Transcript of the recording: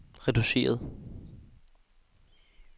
reduceret